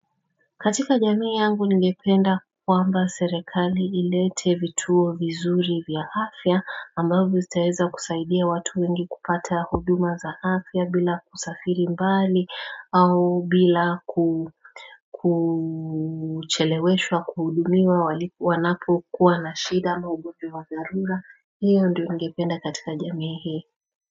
Katika jamii yangu ninngependa kwamba serikali ilete vituo vizuri vya afya ambavyo zitaeza kusaidia watu wengi kupata huduma za afya bila kusafiri mbali au bila kucheleweshwa kuhudumiwa wanapo kuwa na shida ama ubovi wa dharura hiyo ndiyo ningependa katika jamii hii.